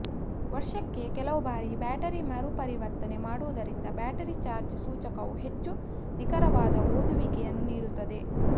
ವರ್ಷಕ್ಕೆ ಕೆಲವು ಬಾರಿ ಬ್ಯಾಟರಿ ಮರುಪರಿವರ್ತನೆ ಮಾಡುವುದರಿಂದ ಬ್ಯಾಟರಿ ಚಾರ್ಜ್ ಸೂಚಕವು ಹೆಚ್ಚು ನಿಖರವಾದ ಓದುವಿಕೆಯನ್ನು ನೀಡುತ್ತದೆ